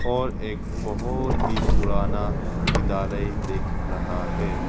और एक बहुत ही पुराना विद्यालय दिख रहा है।